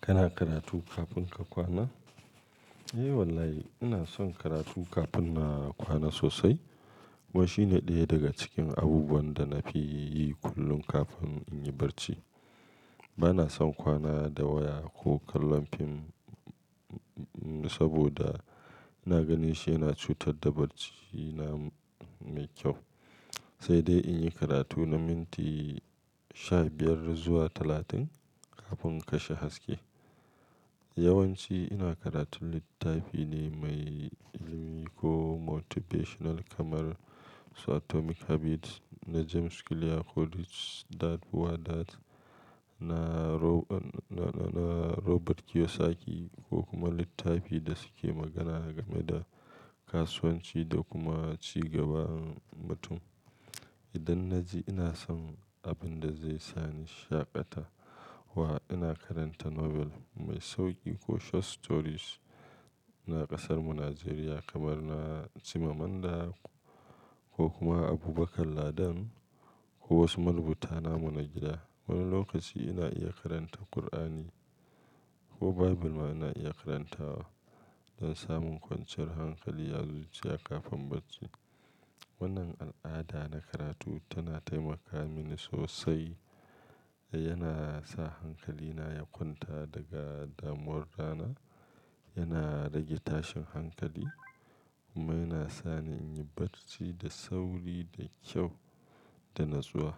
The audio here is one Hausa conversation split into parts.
Kana karatu kafin ka kwana? Eh wallahi ina son karatu kafin na kwana sosai. Ko shine ɗaya daga cikin abubuwan da na fi yi kullum kafin in yi barci. Bana son kwana da waya ko kallon fim, saboda ina ganin shi yana cutar da barcina mai kyau. Sai dai in yi karatu na minti sha biyar zuwa talatin kafin kashe haske. Yawanci ina karatun littafi ne mai ilimi ko motivational kamar Atomic Habits na James Clear ko The 4-Hour Workweek na Robert Kiyosaki ko kuma littafi da suke magana game da kasuwanci da kuma ci gaban mutum. Idan na ji ina son abin da zai sani shaƙata wa, ina karanta Nobel mai sauƙi ko short stories na ƙasarmu Najeriya kamar na Chimamanda ko kuma Abubakar Ladan ko wasu marubuta namu na gida. Wani lokaci ina iya karanta Kur'ani ko Bible ma ina iya karantawa don samun kwanciyar hankali a zuciya kafin barci. Wannan al'ada na karatu tana taimaka mini sosai. Yana sa hankalina ya kwanta daga damuwar rana, yana rage tashin hankali kuma yana sani in yi barci da sauri, da kyau da natsuwa.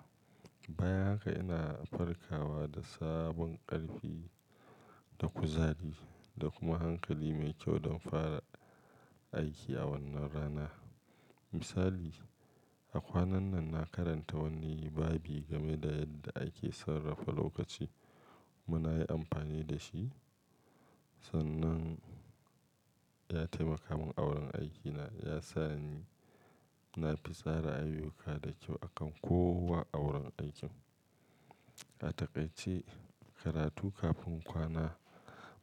Bayan haka ina farkawa da sabon ƙarfi, da kuzari da kuma hankali mai kyau don fara aiki a wannan rana. Misali, a kwanan nan na karanta wani babi game da yadda ake sarrafa lokaci kuma na yi amfani da shi. Sannan ya taimaka min awurin aikina, ya sa ni na fi tsara ayyuka da kyau akan kowa awurin aikin. A takaice, karatu kafin kwana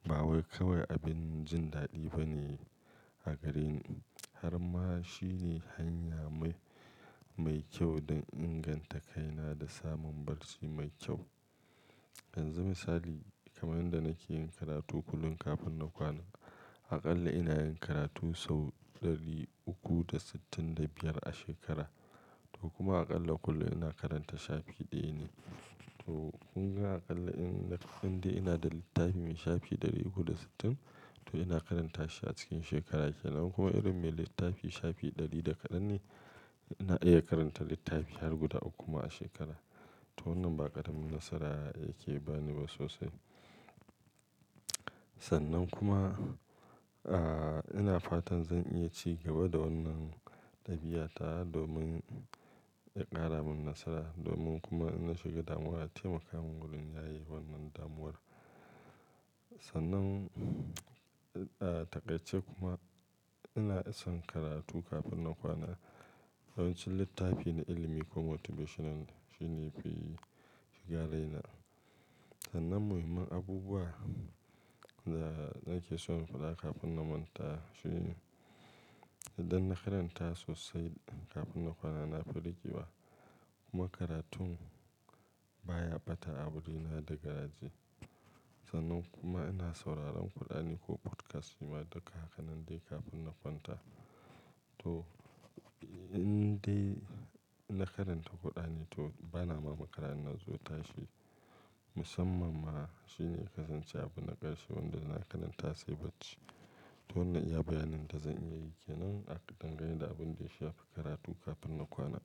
ba wai kawai abin jin daɗi bane a gareni harma shine hanya mai, mai kyau don inganta kaina da samun barci mai kyau. Yanzu misali, kamar yanda nake yin karatu kullum kafin na kwana, aƙalla ina yin karatu sau ɗari uku da sittin da biyar a shekara. To kuma aƙalla kullum ina karanta shafi ɗaya ne. To kun ga aƙalla in, idan dai ina da littafi mai shafi ɗari uku da sittin, to ina karanta shi a cikin shekara kenan. Kuma irin mai littafi shafi ɗari da kadan ne, ina iya karanta littafi har guda uku ma a shekara. To wannan baƙara min nasara yake bani ba sosai. Sannan kuma, ah, ina fatan zan iya ci gaba da wannan ɗabi'ata domin ya ƙara man nasara, domin kuma in na shiga damuwa taimaka man wurin yaye wannan damuwar. Sannan, ah, takaice kuma ina son karatu kafin na kwana. Yawanci littafi na ilimi ko motivational shine yafi, shiga raina. Sannan muhimman abubuwan da nake son faɗa kafin na kwanta shine idan na karanta sosai kafin na kwana, na fi rikewa. Kuma karatun baya ɓata a wurina da garaje. Sannan kuma ina sauraron Kur'ani ko podcast shima ma duka haka nan dai kafin na kwanta. To indai na karanta Kur'ani to bana ma makara in na zo tashi musamman ma. Shine kasance abin na ƙarshe wanda ina karanta sai barci. To wannan iya bayanin da zan iya yi kenan a dangane da abin da ya shafi karatu kafin na kwana.